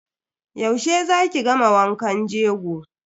Yaushe za ki gama wankan jego.